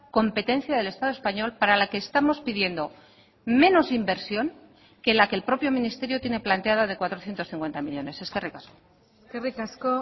competencia del estado español para la que estamos pidiendo menos inversión que la que el propio ministerio tiene planteada de cuatrocientos cincuenta millónes eskerrik asko eskerrik asko